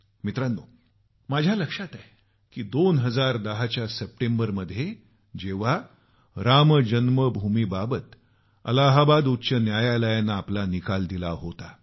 मित्रांनो मला लक्षात आहे की 2010च्या सप्टेंबरमध्ये जेव्हा राम जन्मभूमीवर अलाहाबाद उच्च न्यायालयानं आपला निकाल दिला होता